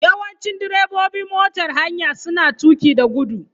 Yawanci direbobin motar haya suna tuƙi da gudu.